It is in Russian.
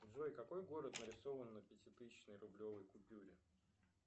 джой какой город нарисован на пятитысячной рублевой купюре